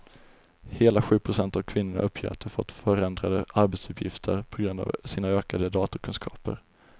Hela sju procent av kvinnorna uppger att de fått förändrade arbetsuppgifter på grund av sina ökade datorkunskaper.